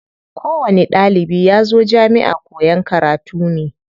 Ko wani ɗalibi yazo jamiʼa koyan karatu ne.